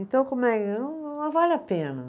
Então, como é. Não vale a pena.